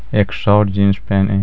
एक short jeans पहने हैं.